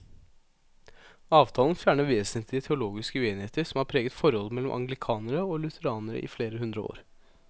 Avtalen fjerner vesentlige teologiske uenigheter som har preget forholdet mellom anglikanere og lutheranere i flere hundre år.